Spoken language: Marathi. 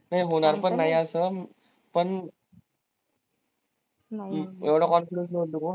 हे होणार पण नाही अस हम्म पण एवढा confidence ठेऊ नको